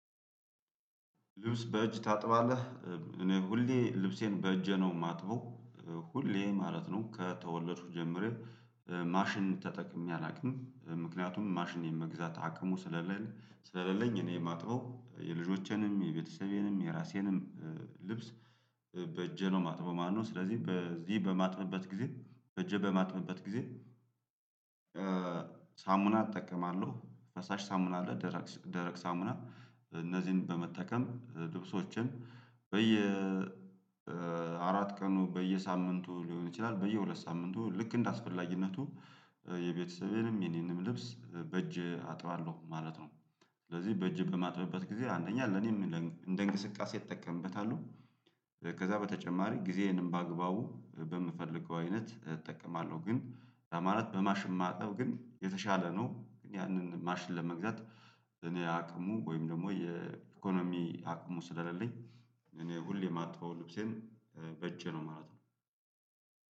"ልብስ በእጅ ታጥባለህ?" እኔ ሁሌ ልብሴን በእጄ ነው የማጥበው። ሁሌ ማለት ነው ከተወለድኩ ጀምሬ ማሽን ተጠቅሜ አላውቅም። ምክንያቱም ማሽን የመግዛት አቅሙ ስለሌለ ስለሌለኝ እኔ ማጥበው የልጆቼንም የቤተሰቤንም የራሴንም ልብስ በእጄ ነው ማጥበው ማለት ነው። ስለዚህ በዚህ በማጥበበት ጊዜ በእጄ በማጥበበት ጊዜ ሳሙና እጠቀማለሁ ፈሳሽ ሳሙና አለ ደረቅ ሳ ደረቅ ሳሙና እነዚህን በመጠቀም ልብሶቼን በየ አራት ቀኑ በየሳምንቱ ሊሆን ይችላል በየሁለት ሳምንቱ ልክ እንደ አስፈላጊነቱ የቤተሰቤንም የኔንም ልብስ በእጄ አጥባለሁ ማለት ነው። ስለዚህ በእጄ በማጥብበት ጊዜ አንደኛ ለኔም እንደ እንቅስቃሴ እጠቀምበታለሁ፤ ከዛ በተጨማሪ ጊዜዬንም በአግባቡ በምፈልገው አይነት እጠቀማለሁ፤ ግን ማለት በማሽን ማጠብ ግን የተሻለ ነው። ያንን ማሽን ለመግዛት እኔ አቅሙ ወይም ደግሞ የኢኮኖሚ አቅሙ ስለሌለኝ እኔ ሁሌ ማጥበው ልብሴን በእጄ ነው ማለት ነው።